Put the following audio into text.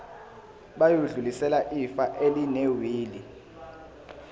bayodlulisela ifa elinewili